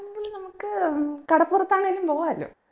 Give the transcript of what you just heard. ണെങ്കിൽ നമ്മക്ക് ഉം കടപ്പുറത്താണേലും പോവാലോ